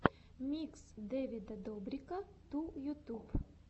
микс дэвида добрика ту ютуб